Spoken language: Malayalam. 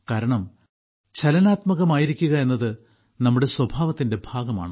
കാരണം ചലനാത്മകമായിരിക്കുക എന്നത് നമ്മുടെ സ്വഭാവത്തിന്റെ ഭാഗമാണ്